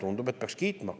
Tundub, et peaks kiitma.